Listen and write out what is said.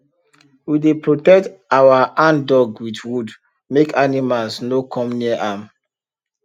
we dey protect our handdug with wood make animals no come near am